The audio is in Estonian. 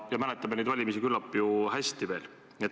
Me mäletame neid valimisi küllap ju hästi.